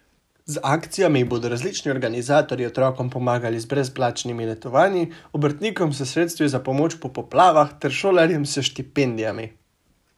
Z akcijami bodo različni organizatorji otrokom pomagali z brezplačnimi letovanji, obrtnikom s sredstvi za pomoč po poplavah ter šolarjem s štipendijami.